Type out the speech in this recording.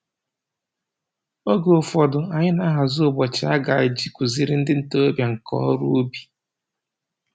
Oge ụfọdụ, anyị na-ahazi ụbọchị a ga-eji kụziere ndị ntoroọbịa nka ọrụ ubi